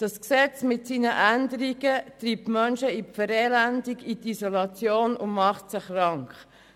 Das Gesetz mit seinen Änderungen treibt die Menschen in die Verelendung, in die Isolation und macht sie krank.